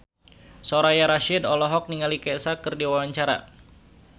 Soraya Rasyid olohok ningali Kesha keur diwawancara